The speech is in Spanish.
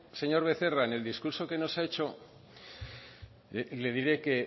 señor becerra en el discurso que nos ha hecho le diré que